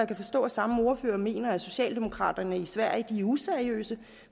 kan forstå at samme ordfører mener at socialdemokraterna i sverige er useriøse